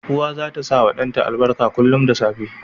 Uwa zata sawa dan ta albarka kullun da safe